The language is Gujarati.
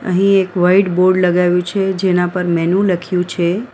અહીં એક વાઈટ બોર્ડ લગાવ્યું છે જેના ઉપર મેનુ લખ્યું છે.